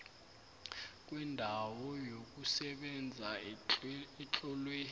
kwendawo yokusebenza etlolwe